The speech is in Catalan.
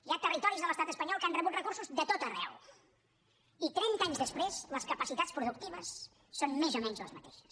hi ha territoris de l’estat espanyol que han rebut recursos de tot arreu i trenta anys després les capacitats productives són més o menys les mateixes